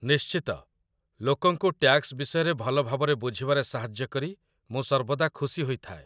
ନିଶ୍ଚିତ, ଲୋକଙ୍କୁ ଟ୍ୟାକ୍ସ ବିଷୟରେ ଭଲ ଭାବରେ ବୁଝିବାରେ ସାହାଯ୍ୟ କରି ମୁଁ ସର୍ବଦା ଖୁସି ହୋଇଥାଏ।